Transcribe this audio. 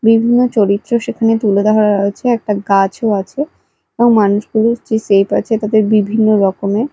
বিভিন্ন চরিত্র সেখানে তুলে ধরা হয়েছে একটা গাছও আছে এবং মানুষগুলোর যে সেপ আছে তাতে বিভিন্ন রকমের--